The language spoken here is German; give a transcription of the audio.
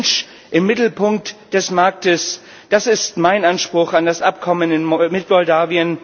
Der Mensch im Mittelpunkt des Marktes, das ist mein Anspruch an das Abkommen mit Moldau.